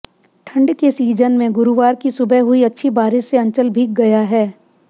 ठंड के सीजन में गुरुवार की सुबह हुई अच्छी बारिश से अंचल भीग गया है